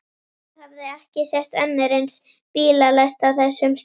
Það hafði ekki sést önnur eins bílalest á þessum slóðum.